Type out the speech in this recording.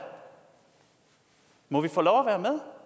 må vi få lov